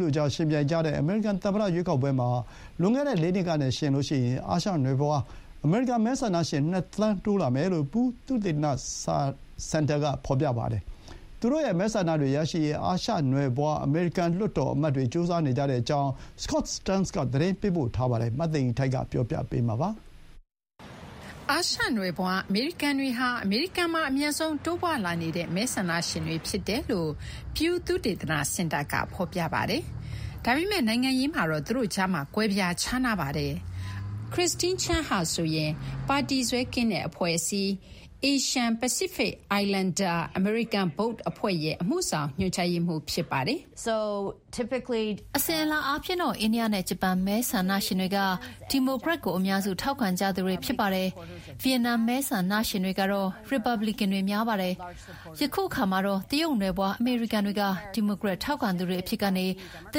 တို့ကြား ယှဉ်ပြိုင်ကြတဲ့ အမေရိကန် သမ္မတရွေးကောက်ပွဲမှာ လွန်ခဲ့တဲ့ ၄ နှစ်ကနဲ့ယှဉ်ရင် အာရှနွယ်ဖွား အမေရိကန် မဲဆန္ဒရှင် ၂ သန်းတိုးလာမယ်လို့ Pew သုတေသနစင်တာကဖော်ပြပါတယ်။ သူတို့ရဲ့မဲဆန္ဒတွေရရှိရေး အာရှနွယ်ဖွား အမေရိကန်လွှတ်တော်အမတ်တွေ ကြိုးစားနေကြတဲ့အကြောင်း Scott Stearns က သတင်းပေးပို့ထားပါတယ်။ မသိင်္ဂီထိုက်က တင်ပြပေးထားပါတယ်။ အာရှနွယ်ဖွားအမေရိကန်တွေဟာ အမေရိကန်မှာ အမြန်ဆုံးတိုးပွားလာနေတဲ့ မဲဆန္ဒရှင်တွေဖြစ်တယ်လို့ Pew သုတေသနစင်တာက ဖော်ပြပါတယ်။ ဒါပေမဲ့ နိုင်ငံရေးမှာတော့ သူတို့ကြားမှာ ကွဲပြားခြားနားနေပါတယ်။ Christine Chen ဟာဆိုရင် ပါတီစွဲကင်းတဲ့အဖွဲ့အစည်း Asian Pacific Islander American Vote အဖွဲ့ရဲ့ အမှုဆောင်ညွှန်ကြားရေးမှူး ဖြစ်ပါတယ်။ အစဉ်အလာအားဖြင့်တော့ အိန္ဒိယနဲ့ဂျပန်မဲဆန္ဒရှင်တွေက ဒီမိုကရက်ကို အများစု ထောက်ခံကြသူတွေ ဖြစ်ပါတယ်။ ဗီယက်နမ်မဲဆန္ဒရှင်တွေကတော့ ရီပတ်ဘလီကန်တွေ များပါတယ်။ အခုအခါမှာတော့ တရုတ်နွယ်ဖွားအမေရိကန်တွေက ဒီမိုကရက် ထောက်ခံသူတွေအဖြစ်ကနေ တ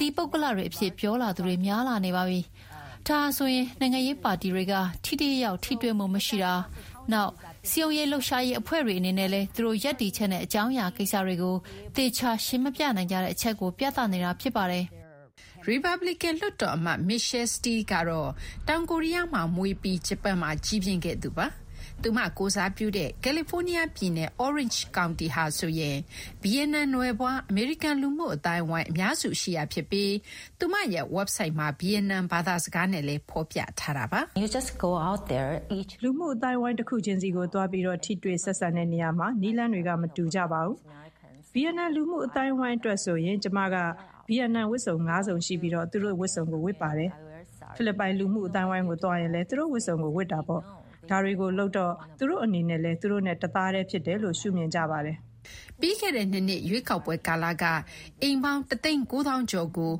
သီးပုဂ္ဂလတွေအဖြစ် ပြောလာသူတွေ များလာနေပါပြီ။ ဒါဟာဆိုရင် နိုင်ငံရေးပါတီတွေက ထိထိရောက်ရောက် ထိတွေ့မှု မရှိတာ၊ နောက် စည်းရုံးလှုပ်ရှာရေးအဖွဲ့တွေအနေနဲ့လည်း သူတို့ ရပ်တည်ချက်နဲ့ အကြောင်းအရာကိစ္စတွေကို သေချာ ရှင်းမပြနိုင်ကြတဲ့အချက်ကို ပြသနေတာ ဖြစ်ပါတယ်။ ရီပတ်ပလီကန်လွှတ်တော်အမတ် Michelle Steel ကတော့ တောင်ကိုရီးယားမှာ မွေးဖွားခဲ့ပြီး ဂျပန်မှာ ကြီးပြင်းခဲ့သူပါ။ သူမကိုယ်စားပြုတဲ့ ကယ်လီဖိုးနီးယား ပြည်နယ် Orange County ဟာဆိုရင် ဗီယက်နမ်နွယ်ဖွား အမေရိကန်လူမှု အသိုင်းအဝိုင်း အများစုရှိရာဖြစ်ပြီး သူမရဲ့ဝက်ဘ်ဆိုက်မှာ ဗီယက်နမ် ဘာသာစကားနဲ့လည်း ဖော်ပြထားတာပါ။ လူမှုအသိုင်းအဝိုင်းတခုချင်းစီကိုသွားပြီး ထိတွေ့ဆက်ဆံတဲ့နေရာမှာ နည်းလမ်းတွေ မတူပါဘူး။ ဗီယက်နမ်လူမှုအသိုင်းအဝိုင်းအတွက်ဆိုရင် ကျမက ဗီယက်နမ် ဝတ်စုံ ၅ စုံ ရှိပြီး သူတို့ဝတ်စုံကို ဝတ်ပါတယ်။ ဖိလစ်ပိုင် လူမှုအသိုင်းအဝိုင်းကို သွားရင်လည်း သူတို့ ဝတ်စုံကိုဝတ်ပါတယ်။ ဒါတွေကိုလုပ်တာကြောင့် သူတို့ အနေနဲ့လည်း သူတို့နဲ့တသားတည်းဖြစ်တယ်လို့ ရှုမြင်ကြပါတယ်။" ပြီးခဲ့တဲ့ ၂ နှစ် ရွေးကောက်ပွဲကာလက အိမ်ပေါင်း ၁ သိန်း ၉ သောင်းကျော်ကို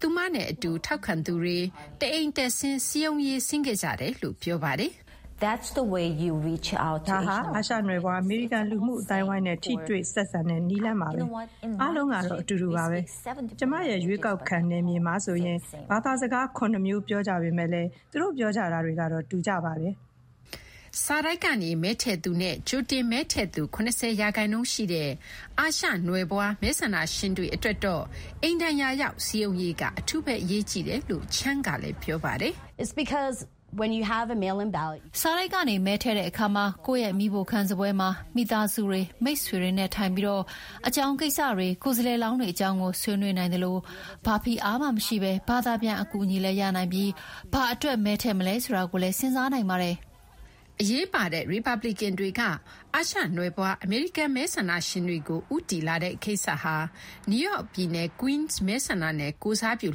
ဆိုရင် သူမနဲ့အတူ ထောက်ခံသူတွေ တအိမ်တက်ဆင်း စည်းရုံးရေး ဆင်းခဲ့ကြတယ်လို့ ပြောပါတယ်။ "ဒါဟာ အာရှနွယ်ဖွား-အမေရိကန် လူမှုအသိုင်းအဝိုင်းနဲ့ ထိတွေ့ဆက်ဆံတဲ့နည်းလမ်းပါ။ အားလုံး အတူတူပါပဲ။ ကျမ ရွေးကောက်ခံနယ်မြေမှာဆိုရင် ဘာသာစကား ၇ မျိုး ပြောကြပေမယ့် သူတို့ပြောကြတာတွေကတော့ တူကြပါတယ်။" စာတိုက်ကနေ မဲထည့်သူနဲ့ ကြိုတင်မဲထည့်သူ ၇၀ ရာခိုင်နှုန်းရှိတဲ့ အာရှနွယ်ဖွား မဲဆန္ဒရှင်တွေအတွက်တော့ အိမ်တိုင်ယာရောက်စည်းရုံးရေးက အထူး အရေးကြီးတယ်လို့ Chen ကလည်း ပြောပါတယ်။ "စာတိုက်ကနေမဲထည့်တဲ့အခါမှာ ကိုယ့် မီးဖိုခန်းစားပွဲမှာ မိသားစုတွေ၊ မိတ်ဆွေတွေနဲ့ထိုင်ပြီး အကြောင်းကိစ္စတွေ၊ ကိုယ်စားလှယ်လောင်းတွေအကြောင်းကို ဆွေးနွေးနိုင်သလို ဘာဖိအားမှမရှိဘဲ ဘာသာပြန်အကူအညီလည်းရနိုင်ပြီး ဘာအတွက် မဲထည့်မလဲ ဆိုတာကိုလည်း စဉ်းစားနိုင်ပါတယ်။ အရေးပါတဲ့ ရီပတ်ပလီကန်တွေက အာရှနွယ်ဖွားအမေရိကန် မဲဆန္ဒရှင်တွေကိုဦးတည်လာတဲ့ ကိစ္စဟာ နယူးယောက်ပြည်နယ် Queens မဲဆန္ဒနယ်ကိုယ်စားပြု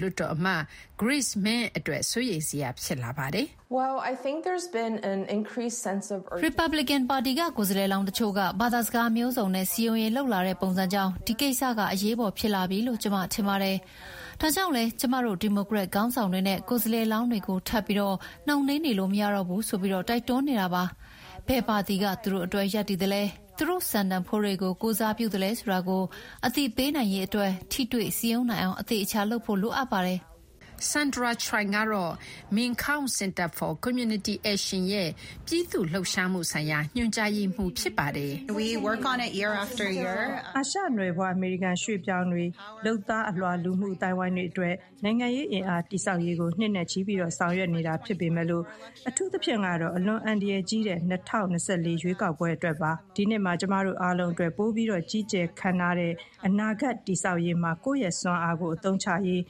လွှတ်တော် အမတ် Grace Meng အတွက် စိုးရိမ်စရာ ဖြစ်လာပါတယ်။" "ရီပတ်ဘလီကန်ပါတီက ကိုယ်စားလှယ်လောင်းတချို့က ဘာသာစကားမျိုးစုံနဲ့ စည်းရုံးရေးလုပ်လာတဲ့ ပုံစံကြောင့် ဒီကိစ္စကအရေးပေါ် ဖြစ်လာပြီလို့ ကျမထင်ပါတယ်။ ဒါကြောင့်လည်း ကျမတို့ ဒီမိုကရက်ခေါင်းဆောင်တွေနဲ့ ကိုယ်စားလှယ်လောင်းတွေကို ထပ်ပြီး နှောင့်နှေးနေလို့မရတော့ဘူးဆိုပြီး တိုက်တွန်းနေတာပါ။ ဘယ်ပါတီက သူတို့အတွက် ရပ်တည်သလဲ၊ သူတို့ စံတန်ဖိုးတွေကို ကိုယ်စားပြုလဲ ဆိုတာကို အသိပေးနိုင်ရေးအတွက် ထိတွေ့စည်းရုံးနိုင်အောင် အသေအချာ လုပ်ဖို့ လိုအပ်ပါတယ်။" Sandra Choi ကတော့ MinKwon Center for Community Action ရဲ့ ပြည်သူ့ လှုပ်ရှားမှု ဆိုင်ရာ ညွှန်ကြားရေးမှူး ဖြစ်ပါတယ်။ "အာရှနွယ်ဖွား အမေရိကန်ရွှေ့ပြောင်းတွေ၊ လုပ်သားအလွှာ လူမှုအသိုင်းအဝိုင်းတွေအတွက် နိုင်ငံရေးအင်အား တည်ဆောက်ရေးကို နှစ်နဲ့ချီဆောင်ရွက်နေတာ ဖြစ်ပေမဲ့ အထူးသဖြင့်တော့ အလွန်အန္တရာယ်ကြီးတဲ့ ၂၀၂၄ ရွေးကောက်ပွဲ အတွက် ဖြစ်ပါတယ်။ ဒီနှစ်မှာ ကျမတို့အားလုံးအတွက် ပိုပြီး ကြီးကျယ်ခမ်းနားတဲ့ အနာဂတ်တည်ဆောက်ရေးမှာ ကိုယ့်ရဲ့စွမ်းအားကို အသုံးချရေး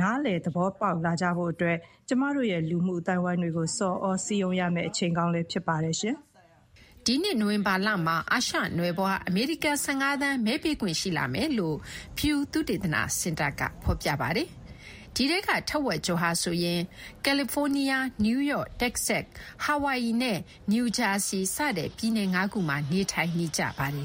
နားလည် သဘောပေါက်လာစေဖို့ ကျမတို့ရဲ့ လူမှုအသိုင်းအဝိုင်းတွေကို ဆော်သြစည်းရုံးရမယ့် အချိန်ကောင်း ဖြစ်ပါတယ်။" ဒီနှစ် နိုဝင်ဘာလမှာ အာရှနွယ်ဖွား အမေရိကန် ၁၅ သန်း မဲပေးခွင့် ရှိလာမယ်လို့ Pew သုတေသနစင်တာကဖော်ပြပါတယ်။ ဒီထဲက ထက်ဝက်ကျော်ဟာဆိုရင် ကယ်လီဖိုးနီးယား၊ နယူးယောက်၊ တက္ကဆက်၊ ဟာဝိုင်အီနဲ့နယူးဂျာစီ-စတဲ့ ပြည်နယ် ၅ ခုမှာ နေထိုင်နေကြပါတယ်